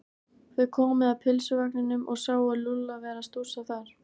Þau komu að pylsuvagninum og sáu Lúlla vera að stússa þar.